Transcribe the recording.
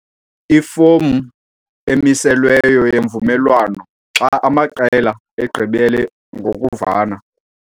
Ifomu emiselweyo yemvumelwano xa amaqela egqibele ngokuvana.